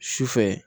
Sufɛ